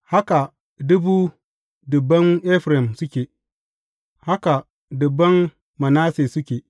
Haka dubu dubban Efraim suke; haka dubban Manasse suke.